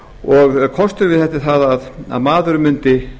og kosturinn við það að maðurinn mundi